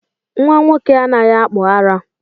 Nnwa nwoke anaghị akpụ ara